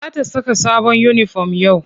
Za ta saka sabon uniform yau.